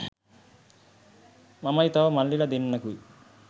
මමයි තව මල්ලිල දෙන්නෙකුයි